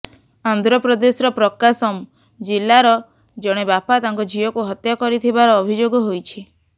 ଆନ୍ଧ୍ରପ୍ରଦେଶର ପ୍ରକାଶମ ଜିଲ୍ଲାର ଜଣେ ବାପା ତାଙ୍କ ଝିଅକୁ ହତ୍ୟା କରିଥିବାର ଅଭିଯୋଗ ହୋଇଛି